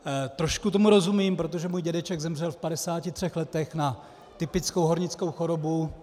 Trošku tomu rozumím, protože můj dědeček zemřel v 53 letech na typickou hornickou chorobu.